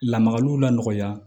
Lamagaliw lakɔlɔya